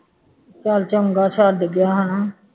ਚੱਲ ਚੰਗਾ ਛੱਡ ਗਿਆ ਹੈ ਨਾ